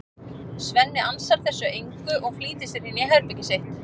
Svenni ansar þessu engu og flýtir sér inn í herbergið sitt.